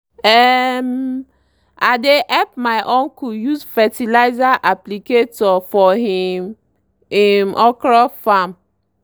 um i dey help my uncle use fertilizer applicator for him him okra farm.